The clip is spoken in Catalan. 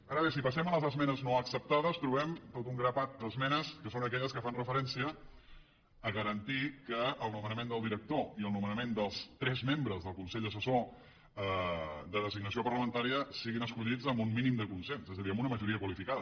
ara bé si passem a les esmenes no acceptades trobem tot un grapat d’esmenes que són aquelles que fan referència a garantir que el nomenament del director i el nomenament dels tres membres del consell assessor de designació parlamentària siguin escollits amb un mínim de consens és a dir amb una majoria qualificada